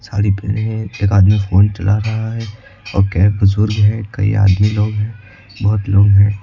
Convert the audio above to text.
साड़ी पहने है एक आदमी फोन चला रहा है और कई बुजुर्ग है कई आदमी लोग है बहुत लोग है।